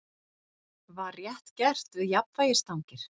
Var rétt gert við jafnvægisstangir?